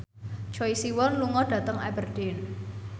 Choi Siwon lunga dhateng Aberdeen